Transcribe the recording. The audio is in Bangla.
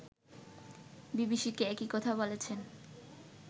বিবিসিকে একই কথা বলেছেন